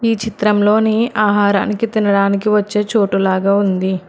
ఈ చిత్రంలోని ఆహారానికి తినడానికి వచ్చే చోటు లాగా ఉంది.